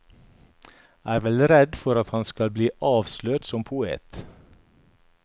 Er vel redd for at han skal bli avslørt som poet.